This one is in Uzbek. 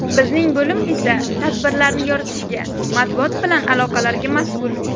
Bizning bo‘lim esa tadbirlarni yoritishga, matbuot bilan aloqalarga mas’ul.